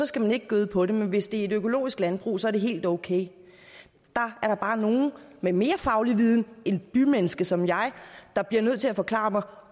skal man ikke gøde på dem men hvis det er et økologisk landbrug er det helt okay der er der bare nogen med mere faglig viden end et bymenneske som jeg har der bliver nødt til at forklare mig